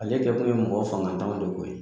Ale kɛkun ye mɔgɔ fangantanw de ko ye